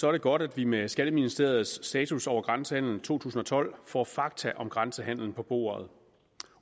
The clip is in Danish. er det godt at vi med skatteministeriets status over grænsehandel to tusind og tolv får fakta om grænsehandelen på bordet